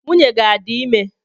Nwunye gị adị ime?